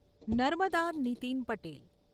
Narmada Nitin Patel